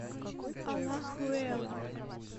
алахуэла